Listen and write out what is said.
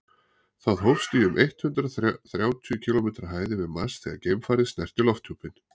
það hófst í um eitt hundruð þrjátíu kílómetri hæð yfir mars þegar geimfarið snerti lofthjúpinn